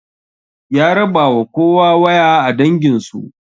Ya rabawa kowa waya a danginsu